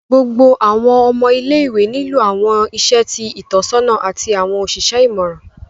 Gbogbo awọn ọmọ ile-iwe nilo awọn iṣẹ ti Itọsọna ati awọn oṣiṣẹ imọran